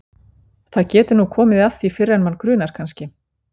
Það getur nú komið að því fyrr en mann grunar kannski!